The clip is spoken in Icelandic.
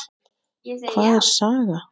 Hvað er saga?